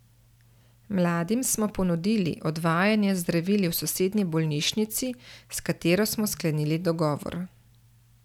Mladim smo ponudili odvajanje z zdravili v sosednji bolnišnici, s katero smo sklenili dogovor.